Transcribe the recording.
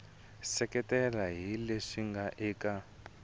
seketela hi leswi nga eka